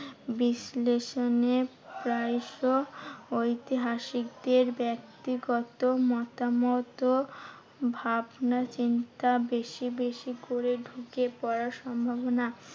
বিশ্লেষণে প্রায়শই ঐতিহাসিকদের ব্যাক্তিগত মতামত ও ভাবনাচিন্তা বেশি বেশি করে ঢুকে পড়ার সম্ভবনা